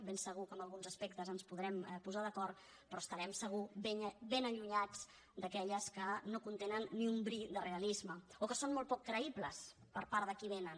ben segur que en alguns aspectes ens podrem posar d’acord però estarem segur ben allunyats d’aquelles que no contenen ni un bri de realisme o que són molt poc creïbles per part de qui vénen